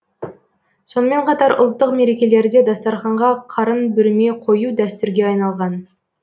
сонымен қатар ұлттық мерекелерде дастарханға қарын бүрме қою дәстүрге айналған